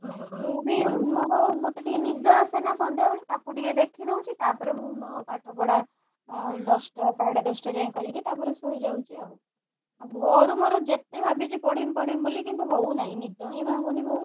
ମୁଁ ବି ମୋର ମତେ ଟିକେ ନିଦ ଆସେ ନା ସନ୍ଧ୍ୟାବେଳେ ତାକୁ ଟିକେ ଦେଖିଦଉଛି ତାପରେ ମୁଁ ମୋ ପାଠପଢା ଉଁ ଦଶଟା ସାଢେଦଶଟା ଯାଏ କରିକି ତାପରେ ଶୋଇଯାଉଛି ଆଉ ଆଉ ଭୋରୁ ମୋର ଯେତେ ଭାବିଛି ପଢିବି ପଢିବି ବୋଲିକି କିନ୍ତୁ ହଉନାହି ନିଦହି ଭାଙ୍ଗୁନି ଭୋରୁ।